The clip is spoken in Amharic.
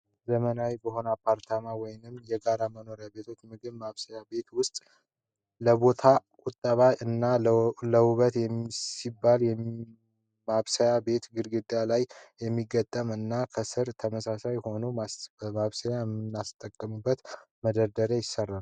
ዘመናዊ በሆኑ አፓርትመንት ወይም የጋራ መኖሪያ ቤቶች ምግብ ማብሰያ ቤት ውስጥ ለቦታ ቁጠባ እና ለውበት ሲባል የማብሰያ ቤት በግድግዳ ላይ የሚገጠም እና ከስር ተመሳሳይ የሆነ ማብሰያዎችን የምናስቀምጥበት መደርደሪያ ይሰራል።